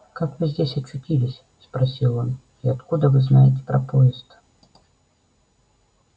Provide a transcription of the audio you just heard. как вы здесь очутились спросил он и откуда вы знаете про поезд